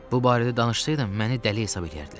Bu barədə danışsaydım məni dəli hesab eləyərdilər.